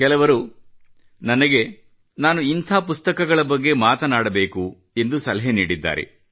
ಕೆಲವರು ನನಗೆ ನಾನು ಇಂಥ ಪುಸ್ತಕಗಳ ಬಗ್ಗೆ ಮಾತನಾಡಬೇಕು ಎಂದು ಸಲಹೆ ನೀಡಿದ್ದಾರೆ